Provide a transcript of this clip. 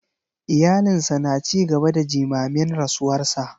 Iyalinsa na ci gaba da jimamin rasuwarsa.